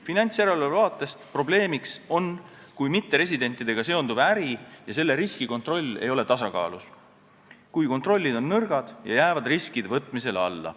Finantsjärelevalve vaatest on probleemiks, kui mitteresidentidega seonduv äri ja selle riskikontroll ei ole tasakaalus, kui kontroll on nõrk ja jääb riskide võtmisele alla.